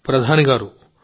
మోదీ గారూ